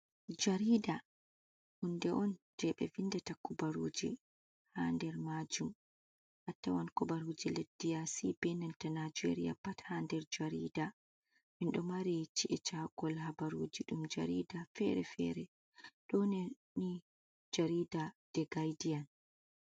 Jarida, hunde on je ɓe vindata kubaruji ha nder majum, atawan kubaruji leddiyasi benanta najeria pat ha nder jarida minɗo mari ci’e cakol habaruji ɗum jarida fere-fere ɗoneni jarida de gaidiyan.